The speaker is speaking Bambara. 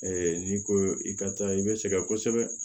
n'i ko i ka taa i bɛ sɛgɛn kosɛbɛ